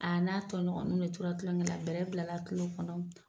A n'a tɔɲɔgɔnw de tora tulonkɛ la, bɛlɛ bilala a kilo kɔnɔ.